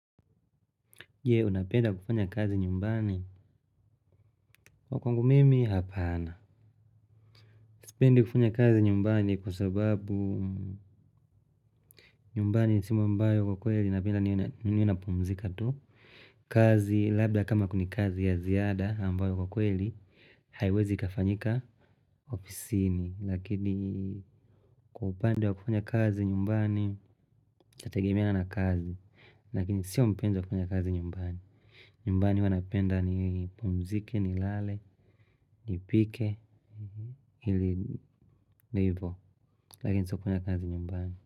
Je, unapenda kufanya kazi nyumbani? Wa kwangu mimi, hapana. Sipenda kufanya kazi nyumbani kwa sababu nyumbani sehemu ambayo kwa kweli napenda ninapumzika tu. Kazi, labda kama kuna kazi ya ziada ambayo kwa kweli, haiwezi kafanyika ofisini. Lakini, kwa upande wa kufanya kazi nyumbani, cha tegemea na kazi. Lakini, sio mpenda kufanya kazi nyumbani. Nyumbani huwa napenda nipumzike, nilale, nipike, hili nivo. Lakini sio kufanya kazi nyumbani.